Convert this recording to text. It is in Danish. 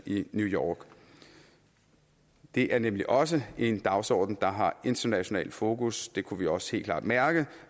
i new york det er nemlig også en dagsorden der har internationalt fokus det kunne vi også helt klart mærke